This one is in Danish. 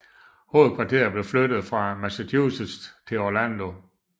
Hovedkvarteret blev flyttet fra Massachusetts til Orlando